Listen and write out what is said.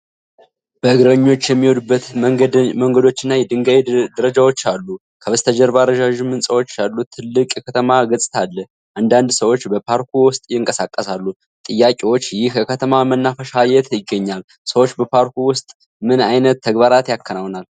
በእግረኞች የሚሄዱበት መንገዶችና የድንጋይ ደረጃዎች አሉ። ከበስተጀርባ ረዣዥም ሕንፃዎች ያሉት ትልቅ የከተማ ገጽታ አለ። አንዳንድ ሰዎች በፓርኩ ውስጥ ይንቀሳቀሳሉ። ጥያቄዎች: ይህ የከተማ መናፈሻ የት ይገኛል? ሰዎች በፓርኩ ውስጥ ምን ዓይነት ተግባራት ያከናውናሉ?